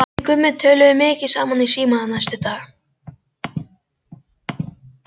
Við Gummi töluðum mikið saman í síma næstu daga.